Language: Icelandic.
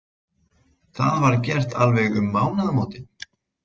Það var gert alveg um mánaðamótin.